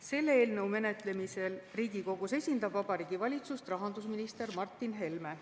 Selle eelnõu menetlemisel Riigikogus esindab Vabariigi Valitsust rahandusminister Martin Helme.